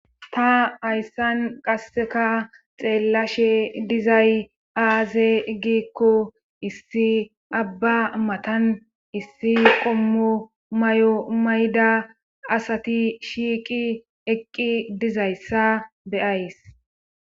ta hayssan qasseka xeellashe dizay aaze gikko issi abba matan issi qommo may7o mayda asati shiiqi eqqi dizayssa be7ays